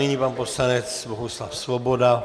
Nyní pan poslanec Bohuslav Svoboda.